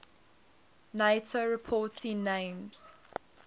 nato reporting names